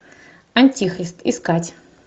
антихрист искать